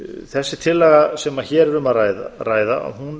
þessi tillaga sem hér er um að ræða